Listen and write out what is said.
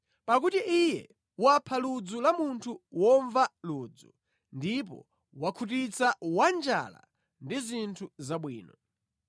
pakuti Iye wapha ludzu la munthu womva ludzu ndipo wakhutitsa wanjala ndi zinthu zabwino.